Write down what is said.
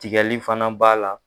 Tigali fana b'a la